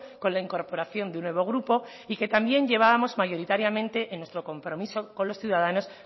con la incorporación de un nuevo grupo y que también llevábamos mayoritariamente en nuestro compromiso con los ciudadanos